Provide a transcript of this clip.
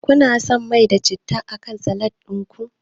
Kuna son mai da citta akan salat din ku?